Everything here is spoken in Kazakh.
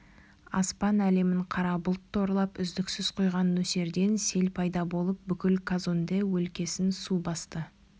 аспан әлемін қара бұлт торлап үздіксіз құйған нөсерден сел пайда болып бүкіл казонде өлкесін су басты